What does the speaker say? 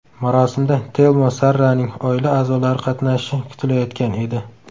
Marosimda Telmo Sarraning oila a’zolari qatnashishi kutilayotgan edi.